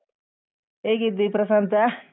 ಹೇಗಿದ್ದಿ ಪ್ರಸಾಂತ?